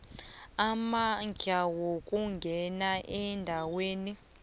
amandla ukungena endaweni